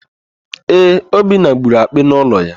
Ee, Obinna gburu akpị n'ụlọ ya.